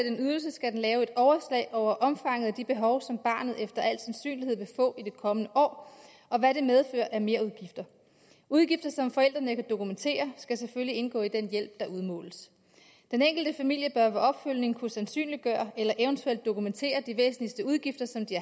en ydelse skal den lave et overslag over omfanget af de behov som barnet efter al sandsynlighed vil få i det kommende år og hvad det medfører af merudgifter udgifter som forældrene kan dokumentere skal selvfølgelig indgå i den hjælp der udmåles den enkelte familie bør ved opfølgning kunne sandsynliggøre eller eventuelt dokumentere de væsentligste udgifter som de